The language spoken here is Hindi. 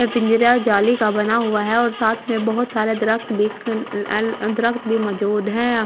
ये पिंजरा जाली का बना हुआ है और साथ में बहुत सारा दरखत दरखत भी मौजूद हैं।